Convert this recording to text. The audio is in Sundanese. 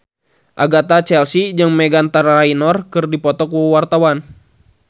Agatha Chelsea jeung Meghan Trainor keur dipoto ku wartawan